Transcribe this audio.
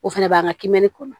O fɛnɛ b'an ka kimɛni kɔnɔ